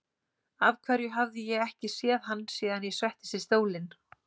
Af hverju hafði ég ekki séð hann síðan ég settist í stólinn?